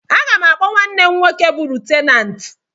Aga m akpọ nwanne m nwoke bụ Lutenant